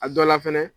A dɔ la fɛnɛ